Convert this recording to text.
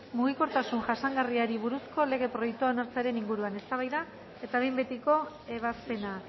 mugikortasun jasangarriari buruzko lege proiektua onartzearen inguruan eztabaida eta behin betiko ebazpena